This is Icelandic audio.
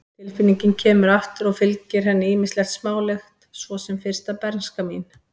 Tilfinningin kemur aftur og fylgir henni ýmislegt smálegt, svo sem fyrsta bernska mín.